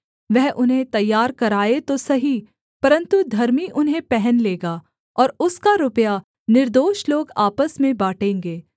वह उन्हें तैयार कराए तो सही परन्तु धर्मी उन्हें पहन लेगा और उसका रुपया निर्दोष लोग आपस में बाँटेंगे